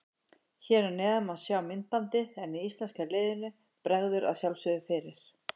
Hér að neðan má sjá myndbandið en íslenska liðinu bregður að sjálfsögðu fyrir.